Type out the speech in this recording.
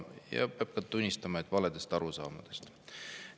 Ja peab ka tunnistama, et valedest arusaamadest.